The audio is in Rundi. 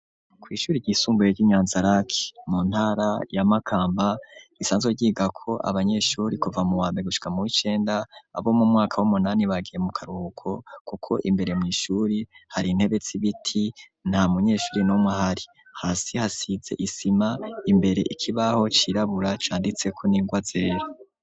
Ku ishure ryisumbuye ry'inyanzalaki mu ntara ya makamba risanzwe ryiiga ko abanyeshure kuva mu wambere gushika mu w'icenda abo mu mwaka w'umunani bagiye mu karuhuko kuko imbere mw'ishure hari intebe zibiti nta munyeshure numwe uhari hasi hasize isima imbere ikibaho cirabura canditse ko n'ingwa zera.